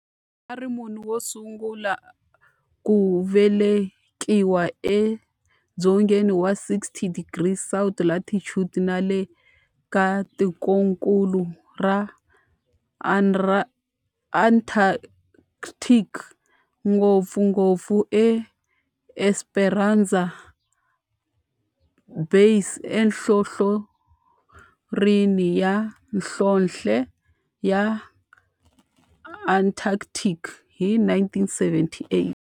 A ri munhu wosungula ku velekiwa edzongeni wa 60 degrees south latitude nale ka tikonkulu ra Antarctic, ngopfungopfu eEsperanza Base enhlohlorhini ya nhlonhle ya Antarctic hi 1978.